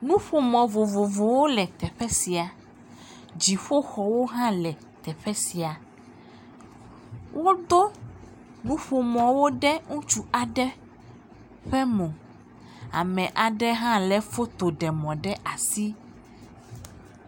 Nuƒomɔ̃ vovovowo le teƒe sia. Dziƒoxɔwo hã le teƒe sia. Wodo nuƒomɔ̃wo ɖe ŋutsu aɖe ƒe mo. Ame aɖe hã lé fotoɖemɔ̃ ɖe asi.